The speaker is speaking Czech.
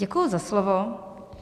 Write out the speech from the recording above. Děkuji za slovo.